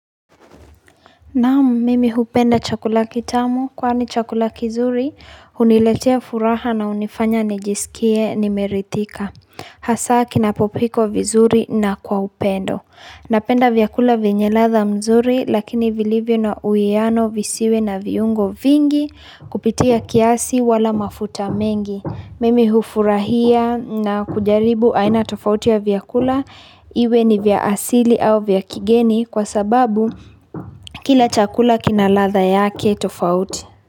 Naam, mimi hupenda chakula kitamu kwani chakula kizuri, huniletea furaha na hunifanya nijisikie nimerithika. Hasa kinapopikwa vizuri na kwa upendo. Napenda vyakula vyenye radha mzuri lakini vilivyo na uwiano visiwe na viungo vingi kupitia kiasi wala mafuta mengi. Mimi hufurahia na kujaribu aina tofauti ya vyakula iwe ni vya asili au vya kigeni kwa sababu kila chakula kinaradha yake tofauti.